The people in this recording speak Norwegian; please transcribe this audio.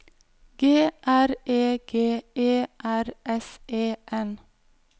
G R E G E R S E N